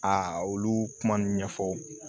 A olu kuma ɲɛfɔ